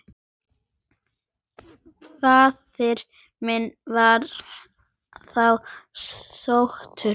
Faðir minn var þá sóttur.